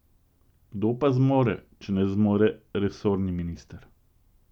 Kdo pa zmore, če ne zmore resorni minister?